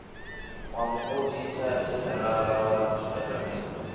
wa muoditha dzhenerala wa zwitatamennde